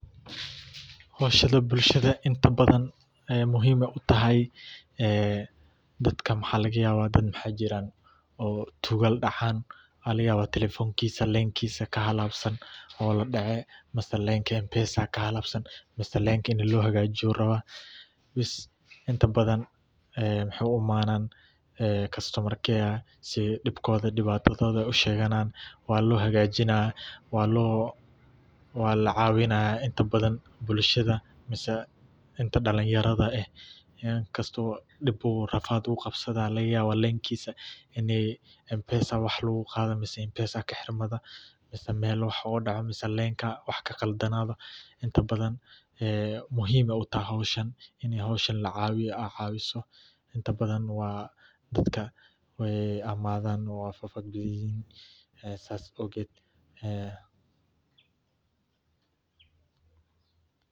Howshani bulshada inta badhan aya muhim utahay, dadka maxa lagayaba dad maxa jiran oo tugal dacan mxa lagaya telefonkisa, leskisa kahalabsan oo ladace mise lenka [cs[mpesa kahalesan mise lenka ini lohagajiyo ayu rabaa, bes inta badhan mxay u umadhan kastamar kayer si dibkodha dibatadoda ay usheganan walo hagajina walacawinaya inta badhan bulshada amah inti dalinyarada eh inkasto dib rafad uqabsade lagayaba lenkisa inay mpesa wax logaqado, mise kaxirmado mise mel wax ogadaco mise lenka wax kaqaldanado inta badhan muhim aya utahay howshan ini howshan lacawiyo aa cawiso intabadhan waa dadka aay imadan oo fafadiyan saa awged.